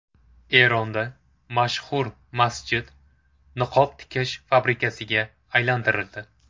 Eronda mashhur masjid niqob tikish fabrikasiga aylantirildi .